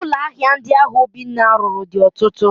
Ụlọ ahịa ndi ahụ Obinna lụrụ dị ọtụtụ